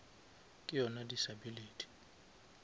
ke yona disability